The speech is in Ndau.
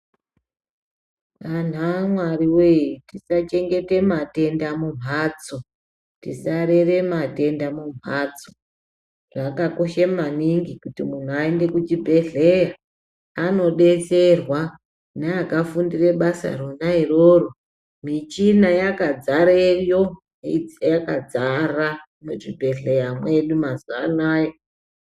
Anhu amwari wee tisachengete matenda mumhatso ,tisarere matenda mumhatso ,zvakakosha maningi kuti muntu aende kuchibhehleya anodetserwa neakafundire basa rona iroro michina yakazare yo yakadzara muzvibhehleya mwedu mazuwa anoya.